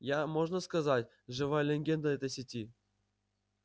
я можно сказать живая легенда этой сети